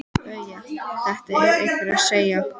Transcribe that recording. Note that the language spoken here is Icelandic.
BAUJA: Þetta var einhver að segja.